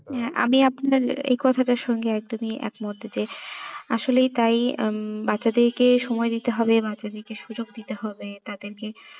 হ্যাঁ আমি আপনার এই কথাটা সঙ্গে একদমই এক মত এতে আসলে তাই উম বাচ্ছাদেরকে সময় দিতে হবে বাচ্ছাদেরকে সুযোগ দিতে হবে তাদেরকে